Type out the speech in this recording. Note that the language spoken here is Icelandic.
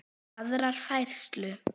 aðra færslu.